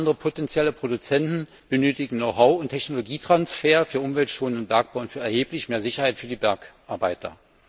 China und andere potenzielle Produzenten benötigen Know how und Technologietransfer für umweltschonenden Bergbau und für erheblich mehr Sicherheit für die Bergarbeiter.